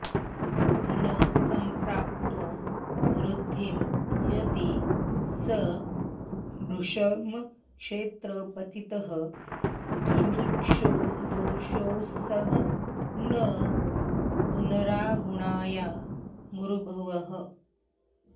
न सम्प्राप्तो वृद्धिं यदि स भृशमक्षेत्रपतितः किमिक्षोर्दोषोऽसौ न पुनरगुणाया मरुभुवः